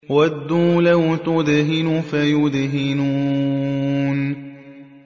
وَدُّوا لَوْ تُدْهِنُ فَيُدْهِنُونَ